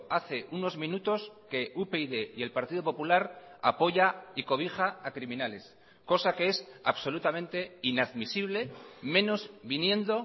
hace unos minutos que upyd y el partido popular apoya y cobija a criminales cosa que es absolutamente inadmisible menos viniendo